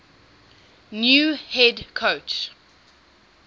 new head coach